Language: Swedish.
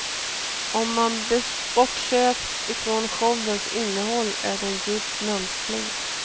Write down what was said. Om man bortser ifrån showens innehåll är den djupt mänsklig.